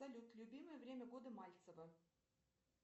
салют любимое время года мальцева